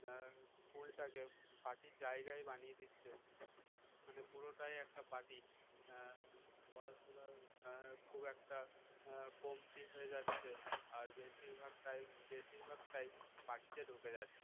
school টাকে party র জায়গায় বানিয়ে দিচ্ছে মানে পুরোটাই একটা party হম পড়াশোনার খুব একটা কমতি হয়ে যাচ্ছে আর আর বেশিরভাগ time বেশিরভাগটাই party তে ঢুকে যাচ্ছে